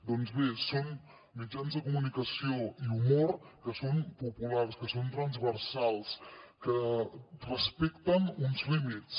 doncs bé són mitjans de comunicació i humor que són populars que són transversals que respecten uns límits